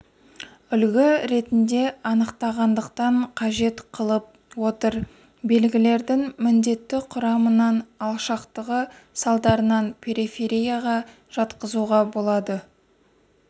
үлгі ретінде анықтағандықтан қажет қылып отыр белгілердің міндетті құрамынан алшақтығы салдарынан периферияға жатқызуға болады